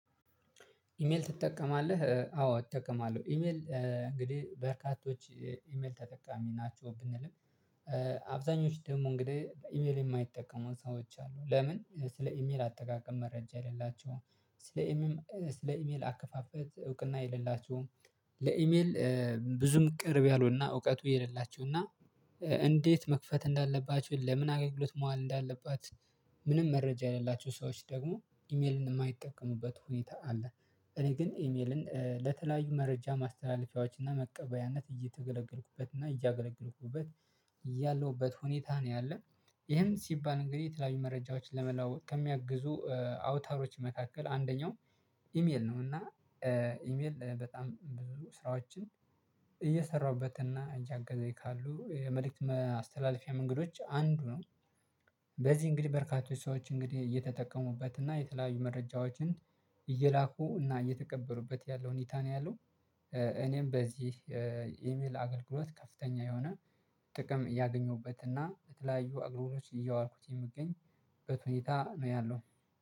ኢሜል ትጠቀማለህ አዎ እጠቀማለሁ። ኢሜል እንግዲህ በርካቶች ኢሜል ተጠቃሚ ናቸው ብንልም አብዛኞቹ ደግሞ እንግዲህ በኢሜል የማይጠቀሙ ሰዎች አሉ። ለምን ስለ ኢሜል አጠቃቀም መረጃ የሌላቸውም። ስለ ኢሜል ስለ ኢሜል አከፋፈት እውቅና የሌላቸውም። ለኢሜል ብዙም ቅርብ ያሉና እውቀቱ የሌላቸው እና እንዴት መክፈት እንዳለባቸው ለምን አገኙት መዋል እንዳለባት። ምንም መረጃ ያላቸው ሰዎች ደግሞ ኢሜልን የማይጠቀሙበት ሁኔታ አለ። እኔ ግን ኢሜልን ለተለያዩ መረጃ ማስተላለፊያዎችና መቀበያነት እየተገለገልኩበትና እያገለገልኩበት ያለሁበት ሁኔታ ነው ያለው። ይሄም ሲባል እንግዲህ የተለያዩ መረጃዎችን ለመለዋወጥ ከሚያግዙ አውታሮች መካከል አንደኛው ኢሜል ነው። እና ኢሜል በጣም ብዙ ስራዎችን እየሰራሁበትና እያገዛኝ ካሉ የመልእክት አስተላልፊያ መንገዶች አንዱ ነው። በዚህ እንግዲህ በርካቶች ሰዎች እንግዲህ እየተጠቀሙበት እና የተለያዩ መረጃዎችን እየላኩ እና እየተቀበሉበት ያለው ሁኔታን ያለው። እኔም በዚህ ኢሜል አገልግሎት ከፍተኛ የሆነ ጥቅም እያገኘሁበት እና በተለያዩ አገልግሎቶች ሊያዋልኩት የሚገኝበት ሁኔታ ነው ያለው።